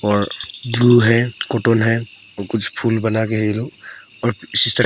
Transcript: और ग्लू है कॉटन है और कुछ फूल बनाए हैं ये लोग और--